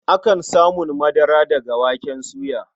Akan samun madara daga waken soya.